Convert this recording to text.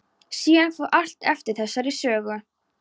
Síðar fór allt eftir þessari sögu.